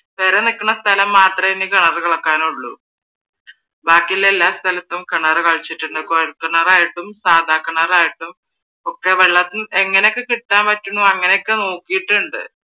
പെര നിക്കണ സ്ഥലം മാത്രമേ ഇനി കിണറ് കിളയ്ക്കാനുള്ളു ബാക്കിയുള്ള എല്ലാ സ്ഥലത്തും കിണറ് കിളച്ചിട്ടുണ്ട്. കുഴൽ കിണറായിട്ടും, സാധാ കിണറായിട്ടും ഒക്കെ വെള്ളത്തിന് എങ്ങനൊക്കെ കിട്ടാൻ പറ്റുന്നു അങ്ങനൊക്കെ നോക്കിയിട്ടുണ്ട്